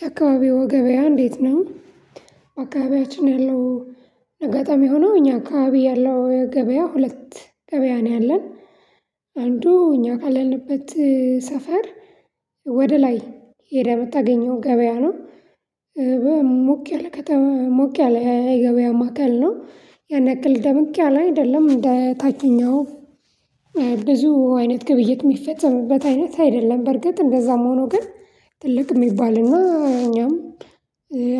የአካባቢው ገበያ እንዴት ነው? አካባቢያችን ያለው አጋጣሚ ሆኖ እኛ አካባቢ ያለው ገበያ ሁለት ገበያ ነው ያለን። አንዱ እኛ ካለንበት ሰፈር ወደ ላይ ሄደህ የምታገኘው ገበያ ነው። ሞቅ ያለ ከተማ ሞቅ ያለ የገበያ ማዕከል ነው የነቅል ደምቅ ያለ አይደለም እንደ ታችኛው ብዙ አይነት ግብይት የሚፈጽምበት አይነት አይደለም በርግጥ እንደዛም ሆኖ ግን ትልቅ የሚባልና እኛም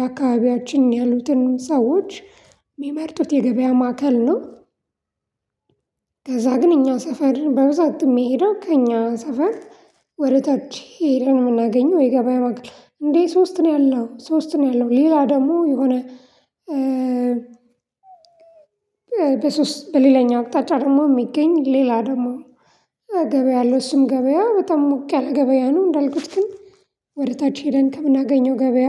አካባቢያችን ያሉትን ሰዎች የሚመርጡት የገበያ ማዕከል ነው። ከዛ ግን እኛ ሰፈር በብዛት የሚሄዱት ከእኛ ሰፈር ወደታች ሄደን የምናገኘው የገበያ መግብር እንዴ ሶስት ነው ያለው ሶስት ነው ያለው ሌላ ደግሞ የሆነ በሶስት በሌላኛው አቅጣጫ ደግሞ የሚገኝ ሌላ ደግሞ ገበያ አለው እሱም ገበያ በጣም ሞቅ ያለ ገበያ ነው። እንዳልኩት ግን ወደ ታች ሄደን ከምናገኘው ገበያ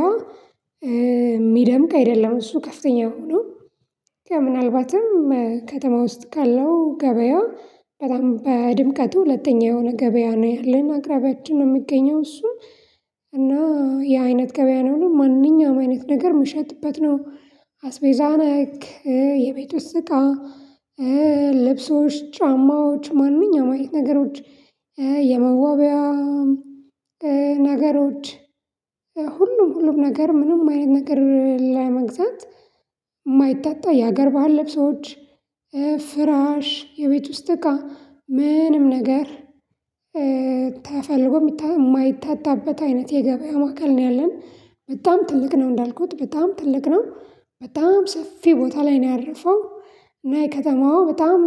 የሚደምቅ አይደለም እሱ ከፍተኛ ሆኖ ከምናልባትም ከተማ ውስጥ ካለው ገበያ በጣም በድምቀቱ ሁለተኛ የሆነ ገበያ ነው ያለን አቅራቢያችን ነው። የሚገኘው እሱ እና የአይነት ገበያ ነው ማንኛውም አይነት ነገር የምሸጥበት ነው። አስቤዛ ነክ የቤት ውስጥ እቃ ልብሶች ጫማዎች ማንኛውንም ነገሮች የመዋቢያ ነገሮች ሁሉም ነገር ምንም አይነት ነገር ላይ መግዛት የማይታጠብ የሀገር ባህል ልብሶች ፍራሽ፣ የቤት ውስጥ እቃ ምንም ነገር ተፈልጎ የማይታጣበት አይነት የገበያ ማዕከል ነው። ያለን በጣም ትልቅ ነው እንዳልኩት በጣም ትልቅ ነው በጣም ሰፊ ቦታ ላይ ነው ያረፈው እና የከተማዋ በጣም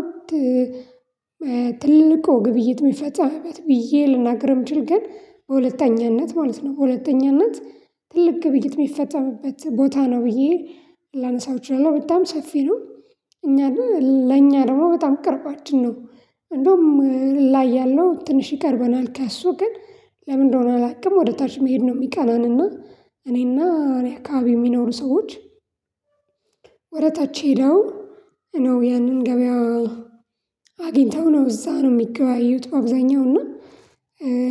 ትልቅ ግብይት የሚፈጸምበት ብዬ ልናገርም ብችል ግን በሁለተኛነት ማለት ነው በሁለተኛነት ትልቅ ግብይት የሚፈጠርበት ቦታ ነው ብዬ ላነሳው እችላለሁ በጣም ሰፊ ነው። እኛ ለኛ ደግሞ በጣም ቅርባችን ነው እንደውም ላይ ያለው ትንሽ ይቀርበናል ካሱ ግን ለምንድነው አላውቅም። ወደ ተርች መሄድ ነው የሚቀናንና እኔና አካባቢ የሚኖሩ ሰዎች ወደ ታች ሄደው ነው ያንን ገበያው አግኝተው ነው እዛ ነው የሚገበያዩት አብዛኛው እና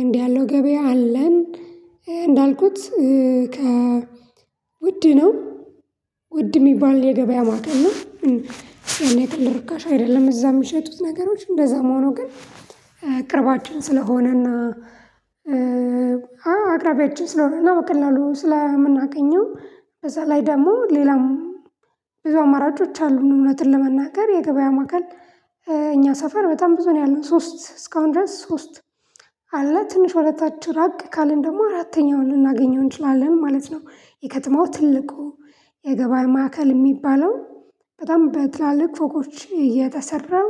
እንዲያ ነው ገበያ ያለን። እንዳልኩት ከ ውድ ነው ውድ የሚባል የገበያ ማዕከል ነው። ያለ ጥርጥር ርካሽ አይደለም እዛ የሚሸጡት ነገሮች እንደዛ መሆኑ ግን ቅርባችን ስለሆነና አቅራቢያችን ስለሆነ ነው። በቀላሉ ስለምናገኘው ከዛ ላይ ደግሞ ሌላም ብዙ አማራጮች አሉን እውነትን ለመናገር የገበያ ማዕከል እኛ ሰፈር በጣም ብዙ ነው ያለው ሶስት እስካሁን ድረስ ሶስት አለ ትንሽ ወደ ታች ራቅ ካልን ደግሞ አራተኛውን ልናገኘው እንችላለን ማለት ነው። የከተማው ትልቁ የገበያ ማዕከል የሚባለው በጣም በትላልቅ ፎቆች የተሰራው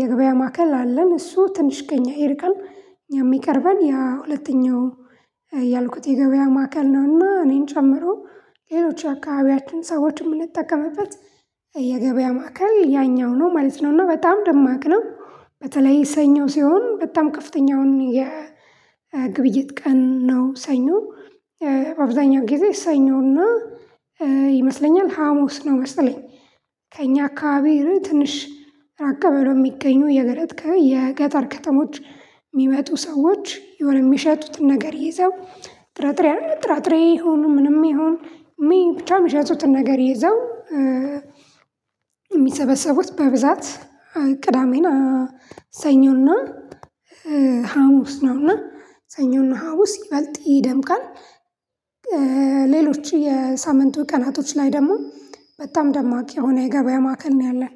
የገበያ ማዕከል አለን እሱ ትንሽ ከእኛ ይርቃል የሚቀርበን የሁለተኛው ያልኩት የገበያ ማዕከል ነውና እኔን ጨምሮ ሌሎች ይአካባቢያችን ሰዎችን የምንጠቀምበት የገበያ ማዕከል ያኛው ነው ማለት ነው። እና በጣም ደማቅ ነው በተለይ ሰኞ ሲሆን በጣም ከፍተኛውን የግብይት ቀን ነው ሰኞ አብዛኛው ጊዜ ሰኞ እና ይመስለኛል ሀሙስ ነው። መሰለኝ ከእኛ አከባቢ ትንሽ ራቅ ብለው የሚገኙ የገለጥ የገጠር ከተሞች የሚመጡ ሰዎች የሆነ የሚሸጡትን ነገር ይዘው ጥራጥሬ ጥራጥሬ ይሁን ምንም ይሁን ብቻ የሚሸጡትን ነገር ይዘው የሚሰበሰቡት በብዛት ቅዳሜን ሰኞና ሀሙስ ነውና ሰኞና ሀሙስ ይበልጥ ይደምቃል። ሌሎች የሳምንቱ ቀናቶች ላይ ደግሞ በጣም ደማቅ የሆነ የገበያ ማዕከል ነው ያለን።